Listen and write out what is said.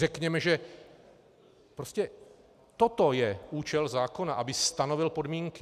Řekněme, že prostě toto je účel zákona, aby stanovil podmínky.